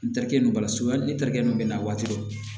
N terikɛ dɔ b'a la so hali n terikɛ dɔ bɛ na waati dɔn